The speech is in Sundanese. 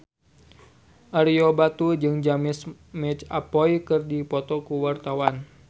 Ario Batu jeung James McAvoy keur dipoto ku wartawan